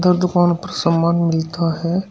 और दुकान पर सामान मिलता है।